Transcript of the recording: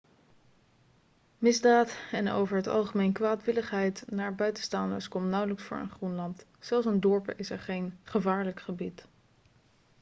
misdaad en over het algemeen kwaadwilligheid naar buitenstaanders komt nauwelijks voor in groenland zelfs in dorpen is er geen gevaarlijk gebied'